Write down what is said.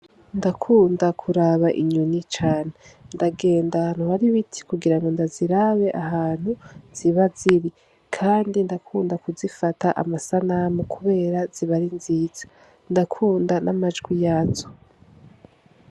Ndakunda kuraba inyoni cane ndagenda ahantu hari ibiti kugirango ndazirabe ahantu ziba ziri kandi ndakunda kuzifata amasanamu kubera ziba ari nziza, Ndakunda n'amajwi yazo.